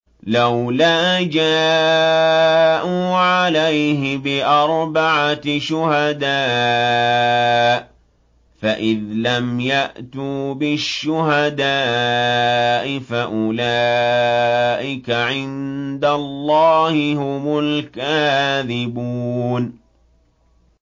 لَّوْلَا جَاءُوا عَلَيْهِ بِأَرْبَعَةِ شُهَدَاءَ ۚ فَإِذْ لَمْ يَأْتُوا بِالشُّهَدَاءِ فَأُولَٰئِكَ عِندَ اللَّهِ هُمُ الْكَاذِبُونَ